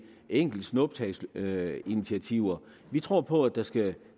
enkelte snuptagsinitiativer vi tror på at der skal